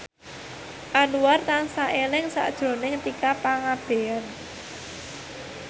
Anwar tansah eling sakjroning Tika Pangabean